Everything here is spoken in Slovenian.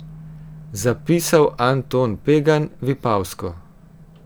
Zapisal Anton Pegan, Vipavsko.